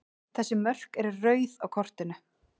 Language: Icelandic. Þessi mörk eru rauð á kortinu.